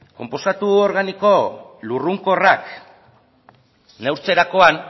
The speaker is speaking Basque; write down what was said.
konposatu organiko lurrunkorrak neurtzerakoan